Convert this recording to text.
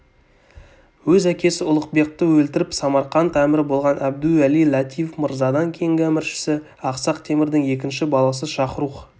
өз әкесі ұлықбекті өлтіріп самарқант әмірі болған әбдуәли-латиф мырзадан кейінгі әміршісі ақсақ темірдің екінші баласы шахрух